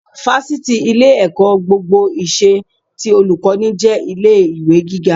Fáṣítì, ilé-ẹ̀kọ́ gbogbo ìṣe, ti Olùkọ́ní, jẹ́ ilé ìwé gíga